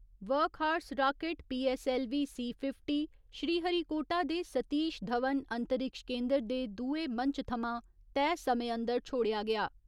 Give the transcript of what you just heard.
Workhorse rocket PSLV C fifty Sriharikota दे सतीश धवन अंतरिक्ष केन्दर दे दुए मंच थमां तय समय अंदर छोड़ेया गेआ।